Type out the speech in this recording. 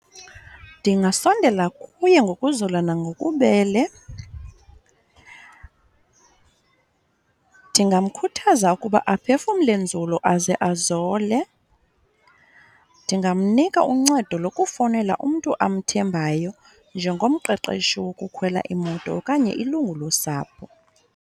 Ndingasondela kuye ngokuzola nangobubele ndingamkhuthaza ukuba aphefumle nzulu aze azole. Ndingamnika uncedo lokufowunela umntu amthembayo njengomqeqeshi wokukhwela imoto okanye ilungu losapho.